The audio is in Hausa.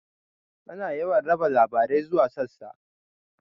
Ana yawan raba labarai zuwa sassa.